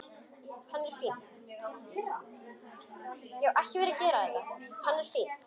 Hann er fínn.